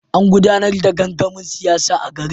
An gudanar da gangamin siyasa a garin.